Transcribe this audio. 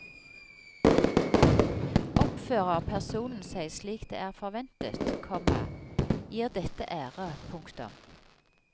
Oppfører personen seg slik det er forventet, komma gir dette ære. punktum